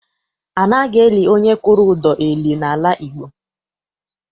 Anaghị eli onye kwụrụ ụdọ eli n'ala Igbo.